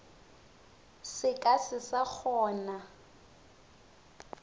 se ka se sa kgona